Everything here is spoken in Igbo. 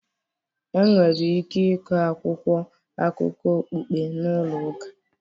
Enwere ike ịkọ akwụkwọ akụkọ okpukpe na ụlọ ụka